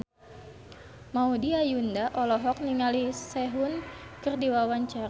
Maudy Ayunda olohok ningali Sehun keur diwawancara